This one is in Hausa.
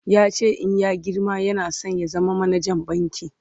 yace in ya girma yana San ya zama manajan banki